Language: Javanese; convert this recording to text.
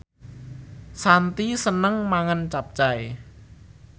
Shanti seneng mangan capcay